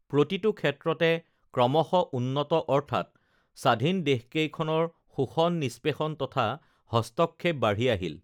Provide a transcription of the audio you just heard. প্ৰতিটো ক্ষেত্ৰতে ক্ৰমশঃ উন্নত অৰ্থাৎ স্বাধীন দেশকেইখনৰ শোষণ নিস্পেষণ তথা হস্তক্ষেপ বাঢ়ি আহিল